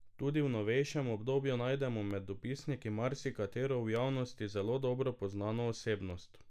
Tudi v novejšem obdobju najdemo med dopisniki marsikatero v javnosti zelo dobro poznano osebnost.